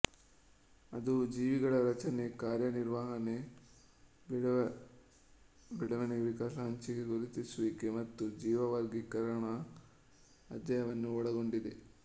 ಅದು ಜೀವಿಗಳ ರಚನೆ ಕಾರ್ಯನಿರ್ವಹಣೆ ಬೆಳವಣಿಗೆ ವಿಕಾಸ ಹಂಚಿಕೆ ಗುರುತಿಸುವಿಕೆ ಮತ್ತು ಜೀವ ವರ್ಗೀಕರಣಗಳ ಅಧ್ಯಯನವನ್ನು ಒಳಗೊಂಡಿದೆ